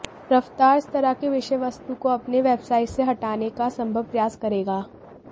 रफ़्तार इस तरह के विषय वस्तु को अपने वेबसाईट से हटाने का संभव प्रयास करेगा